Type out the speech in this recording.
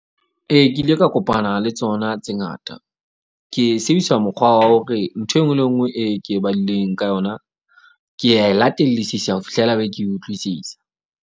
Ee, ke ile ka kopana le tsona tse ngata. Ke sebedisa mokgwa wa hore ntho enngwe le enngwe e ke e badileng ka yona. Ke a e latellisisa ho fihlela be ke iutlwisisa.